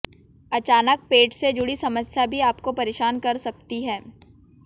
अचानक पेट से जुड़ी समस्या भी आपको परेशान कर सकती हैं